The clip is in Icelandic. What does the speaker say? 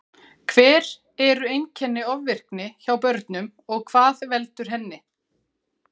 Hver eru einkenni ofvirkni hjá börnum og hvað veldur henni?